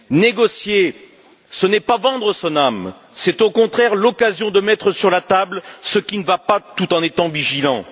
Négocier, ce n'est pas vendre son âme, c'est au contraire l'occasion de mettre sur la table ce qui ne va, pas tout en étant vigilant.